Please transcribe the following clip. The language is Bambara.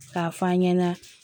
K'a f'an ɲɛna